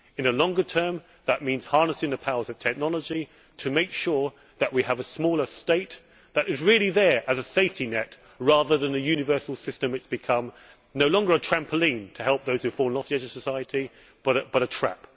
In the longer term that means harnessing the powers of technology to make sure that we have a smaller state which is really there as a safety net rather than as the universal system it has become no longer a trampoline to help those who have fallen off the edge of society, but a trap.